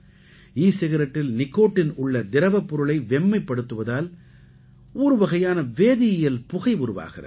ஈ சிகரெட்டில் நிக்கோட்டின் உள்ள திரவப் பொருளை வெம்மைப் படுத்துவதால் ஒருவகையான வேதியியல் புகை உருவாகிறது